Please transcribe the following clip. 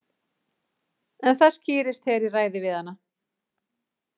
En það skýrist þegar ég ræði við hana.